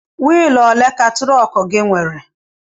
Wịịlụ òlé ka trọọku nwèrè?